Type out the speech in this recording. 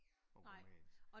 Og rumænsk